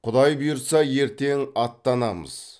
құдай бұйырса ертең аттанамыз